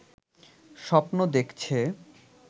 স্বপ্ন দেখছে